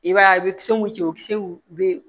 I b'a ye a bɛ kisɛ mun cɛ o kisɛw bɛ